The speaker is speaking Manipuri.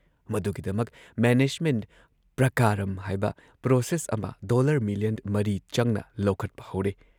ꯃꯗꯨꯒꯤꯗꯃꯛ ꯃꯦꯅꯦꯖꯃꯦꯟꯠ ꯄ꯭ꯔꯀꯥꯔꯝ ꯍꯥꯏꯕ ꯄ꯭ꯔꯣꯁꯦꯁ ꯑꯃ ꯗꯣꯜꯂꯔ ꯃꯤꯂꯤꯌꯟ ꯃꯔꯤ ꯆꯪꯅ ꯂꯧꯈꯠꯄ ꯍꯧꯔꯦ ꯫